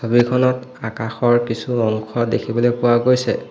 ছবিখনত আকাশৰ কিছু অংশ দেখিবলৈ পোৱা গৈছে।